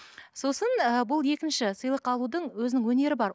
сосын ы бұл екінші сыйлық алудың өзінің өнері бар